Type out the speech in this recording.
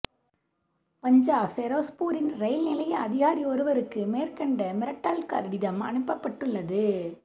பஞ்சாப் பெரோஸ்பூரின் ரயில் நிலைய அதிகாரி ஒருவருக்கு மேற்கண்ட மிரட்டல் கடிதம் அனுப்பப்பட்டுள்ளது